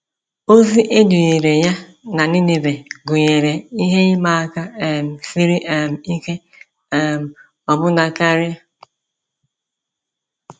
Ozi e dunyere ya na Nineve gụnyere ihe ịma aka um siri um ike um ọbụna karị.